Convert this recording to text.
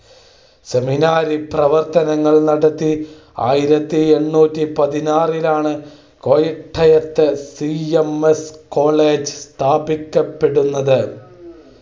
seminary പ്രവർത്തനങ്ങൾ നടത്തി. ആയിരത്തി എണ്ണൂറ്റി പതിനാറ്‌ ലാണ് കോട്ടയ സി. എം. എസ് കോളേജ്സ്ഥാപിക്കപ്പെടുന്നത്.